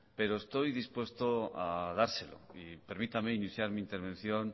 pero estoy dispuesto a dárselo permítame iniciar mi intervención